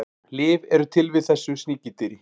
Lyf eru til við þessu sníkjudýri.